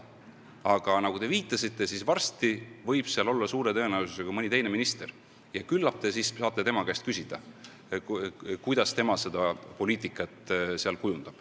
Aga nagu te viitasite, suure tõenäosusega on seal varsti mõni teine minister ja küllap te siis saate tema käest küsida, kuidas tema seda poliitikat kujundab.